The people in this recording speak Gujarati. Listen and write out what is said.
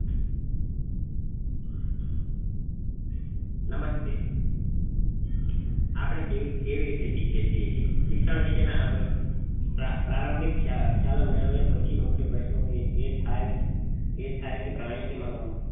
નમસ્તે આપડે કેવી કેવી ર્રીતે શીખીએ છીએ સીક સીક શિક્ષણ વિશે ના પ્રારંભિક ખ્યા ખ્યાલ મેળવ્યા પછી મુખ્ય પ્રશ્ન એ થાય કે એ થાય કે પ્રાણી કે મહા